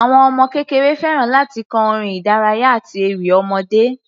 Àwọn ọmọ kékeré fẹ́ràn láti kọ orin ìdárayá àti ewì ọmọdé.